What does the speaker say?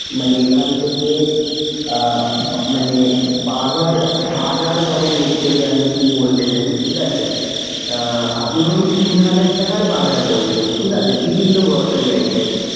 মানে এখান থেকে আহ মানে বাজার বাজার করেন literally আমি যদি বলতে চাই, ঠিক আছে। আহ আপনি ধরুন তিন হাজার টাকার বাজার করলেন, ঠিক আছে বিভিন্ন grocery items?